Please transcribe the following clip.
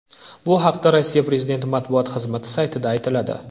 Bu haqda Rossiya prezidenti matbuot xizmati saytida aytiladi .